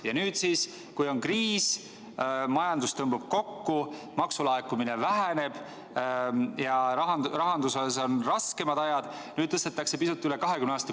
Aga nüüd siis, kui on kriis, majandus tõmbub kokku, maksulaekumine väheneb ja rahanduses on raskemad ajad, tõstetakse pisut üle 20.